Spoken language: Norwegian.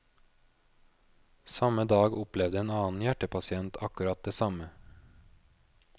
Samme dag opplevde en annen hjertepasient akkurat det samme.